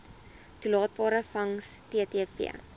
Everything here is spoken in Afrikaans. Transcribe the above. toelaatbare vangs ttv